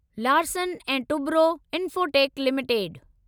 Larsen and Toubro Infotech limited